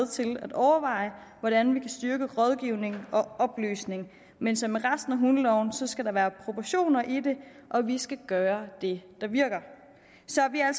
til at overveje hvordan vi kan styrke rådgivning og oplysning men som med resten af hundeloven skal der være proportioner i det og vi skal gøre det der virker så vi er